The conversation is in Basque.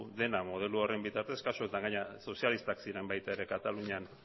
dena modelo horren bitartez kasu honetan gainera sozialistak ziren baita ere katalunian